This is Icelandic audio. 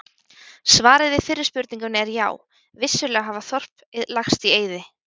Svarið við fyrri spurningunni er já, vissulega hafa þorp lagst í eyði.